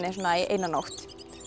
eina nótt